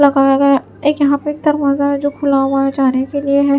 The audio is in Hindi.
लगाया गया एक यहां पे एक दरवाजा है जो खुला हुआ है जाने के लिए है।